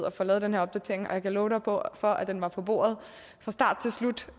at få lavet den her opdatering og jeg kan love dig for for at den var på bordet fra start til slut